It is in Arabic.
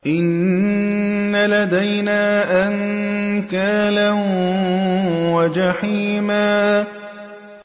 إِنَّ لَدَيْنَا أَنكَالًا وَجَحِيمًا